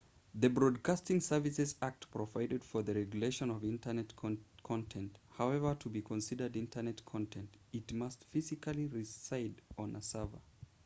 the broadcasting services act provides for the regulation of internet content however to be considered internet content it must physically reside on a server